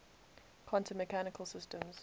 quantum mechanical systems